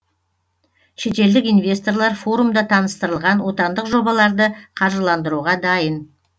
шетелдік инвесторлар форумда таныстырылған отандық жобаларды қаржыландыруға дайын